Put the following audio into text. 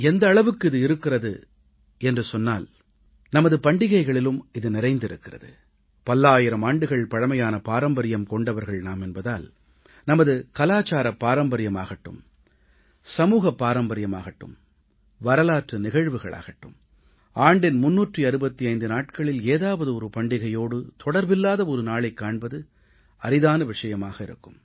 எந்த அளவுக்கு இது இருக்கிறது என்றால் நமது பண்டிகைகளிலும் இது நிறைந்திருக்கிறது பல்லாயிரம் ஆண்டுகள் பழமையான பாரம்பரியம் கொண்டவர்கள் நாம் என்பதால் நமது கலாச்சாரப் பாரம்பரியமாகட்டும் சமூகப் பாரம்பரியமாகட்டும் வரலாற்று நிகழ்வுகளாகட்டும் ஆண்டின் 365 நாட்களில் ஏதாவது ஒரு பண்டிகையோடு தொடர்பில்லாத ஒரு நாளைக் காண்பது அரிதான விஷயமாக இருக்கும்